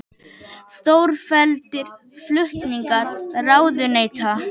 Stórfelldir flutningar ráðuneyta